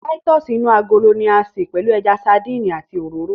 Táítọ̀sì inú agolo ni a ṣe pẹ̀lú ẹja sandínì àti òróró